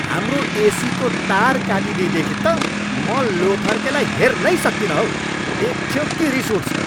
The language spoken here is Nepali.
हाम्रो एसीको तार काटिदिएदेखि त म लोथर्केलाई हेर्नै सक्तिनँ हौ। देख्यो कि रिस उठ्छ।